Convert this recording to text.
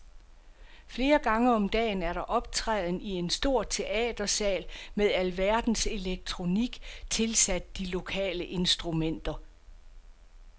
Flere gange om dagen er der optræden i en stor teatersal med alverdens elektronik tilsat de lokale instrumenter.